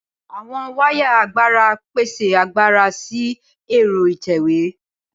Awọn wáyà agbára pese agbára si ẹ́rọ ìtẹ̀wé.